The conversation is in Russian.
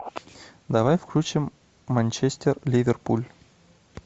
давай включим манчестер ливерпуль